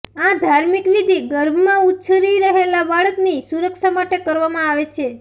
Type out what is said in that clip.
આ ધાર્મિક વિધિ ગર્ભમાં ઉછરી રહેલા બાળકની સુરક્ષા માટે કરવામાં આવે છે